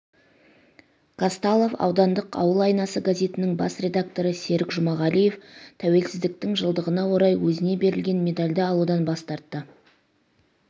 қазталов ауданындық ауыл айнасы газетінің басредакторы серік жұмағалиев тәуелсіздіктің жылдығына орай өзіне берілген медальды алудан бас тарты